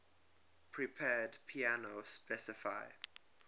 prepared piano specify